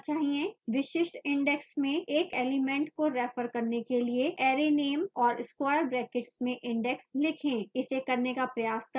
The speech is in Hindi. विशिष्ट index में एक element को refer करने के लिए arrayname और square brackets में index लिखें इसे करने का प्रयास करते हैं